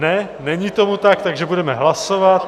Ne, není tomu tak, takže budeme hlasovat.